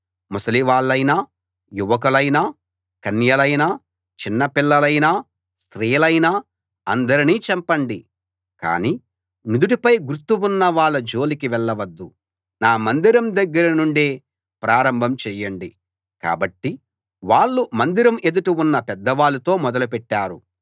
ముసలి వాళ్ళైనా యువకులైనా కన్యలైనా చిన్న పిల్లలైనా స్త్రీలైనా అందరినీ చంపండి కానీ నుదుటిపై గుర్తు ఉన్న వాళ్ళ జోలికి వెళ్ళవద్దు నా మందిరం దగ్గరనుండే ప్రారంభం చేయండి కాబట్టి వాళ్ళు మందిరం ఎదుట ఉన్న పెద్దవాళ్ళతో మొదలు పెట్టారు